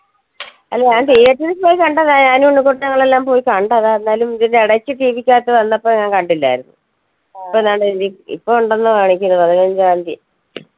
അല്ല ഞാൻ theatre ൽ പോയി കണ്ടതാ ഞാനും ഉണ്ണികുട്ടനു ഞങ്ങൾ എല്ലാം പോയി കണ്ടതാ എന്നാലും ഇതിന്റെ ഇടയ്ക്ക് TV ക്ക് അകത്ത് വന്നപ്പോ ഞാൻ കണ്ടില്ലായിരുന്നു അപ്പോ ഞാൻ കരുതി ഇപ്പൊ ഉണ്ടെന്ന് കാണിക്കുന്നു പതിനഞ്ചാന്തി